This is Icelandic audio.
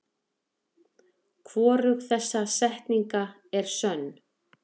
Hvorug þessara setninga er sönn.